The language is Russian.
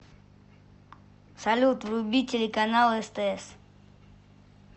салют вруби телеканал стс